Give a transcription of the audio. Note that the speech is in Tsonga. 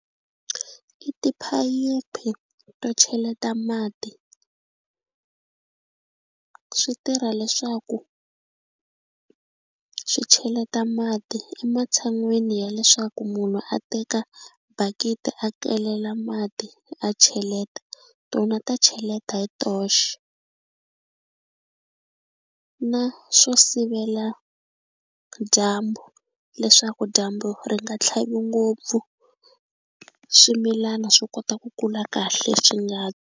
I tiphayiphi to cheleta mati swi tirha leswaku swi cheleta mati ematshan'wini ya leswaku munhu a teka bakiti a kelela mati a cheleta tona ta cheleta hi toxe na swo sivela dyambu leswaku dyambu ri nga tlhavi ngopfu swimilana swi kota ku kula kahle swi nga.